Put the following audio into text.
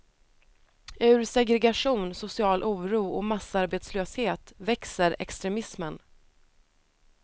Ur segregation, social oro och massarbetslöshet växer extremismen.